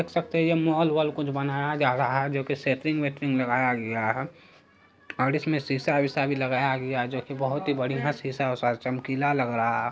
देख सकते है यह मॉल वॉल कुछ बनाया जा रहा है जो की सैटिंग्स वेटिंग लगाया गया है और इसमें शीशा विषा भी लगाया गया है। जो की बहुत बढ़िया शीशा विषा चमकीला लग रहा है।